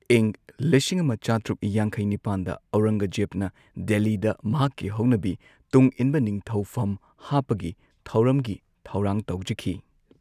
ꯏꯪ ꯂꯤꯁꯤꯡ ꯑꯃ ꯆꯥꯇ꯭ꯔꯨꯛ ꯌꯥꯡꯈꯩ ꯅꯤꯄꯥꯟꯗ ꯑꯧꯔꯪꯒꯖꯦꯕꯅ ꯗꯦꯜꯂꯤꯗ ꯃꯍꯥꯛꯀꯤ ꯍꯧꯅꯕꯤ ꯇꯨꯡꯏꯟꯕ ꯅꯤꯡꯊꯧꯐꯝ ꯍꯥꯞꯄꯒꯤ ꯊꯧꯔꯝꯒꯤ ꯊꯧꯔꯥꯡ ꯇꯧꯖꯈꯤ꯫